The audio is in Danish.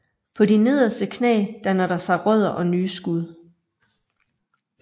På de nederste knæ danner der sig rødder og nye skud